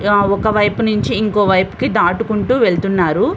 ఒకవైపు నుంచి ఇంకొక వైపుకు దాటుకొని వెళ్తున్నారు.